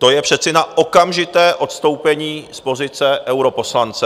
To je přece na okamžité odstoupení z pozice europoslance!